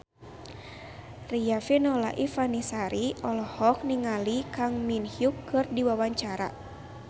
Riafinola Ifani Sari olohok ningali Kang Min Hyuk keur diwawancara